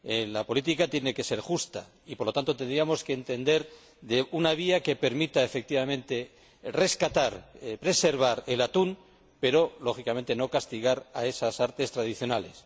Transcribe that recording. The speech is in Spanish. La política tiene que ser justa y, por lo tanto, tendríamos que buscar una vía que permita, efectivamente, preservar el atún, pero, lógicamente, sin castigar esas artes tradicionales.